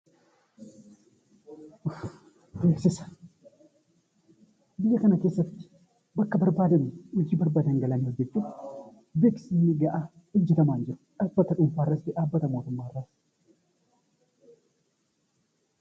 Beeksisa Biyya kana keessatti bakka barbaadan, hojii barbaadan galanii hojjechuuf beeksisni gahaan hojjetamaa hin jiru. Dhaabbanni dhuunfaas ta'ee dhaabbata mootummaa irraas